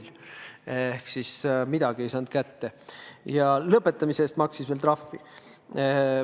Ta ei saanud midagi kätte ja lepingu lõpetamise eest maksis veel trahvi.